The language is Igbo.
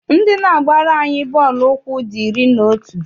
Ndị na-agbara anyị bọọlụ ụkwụ dị iri na otu.